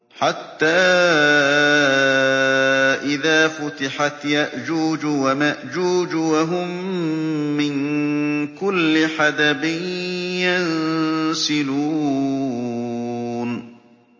حَتَّىٰ إِذَا فُتِحَتْ يَأْجُوجُ وَمَأْجُوجُ وَهُم مِّن كُلِّ حَدَبٍ يَنسِلُونَ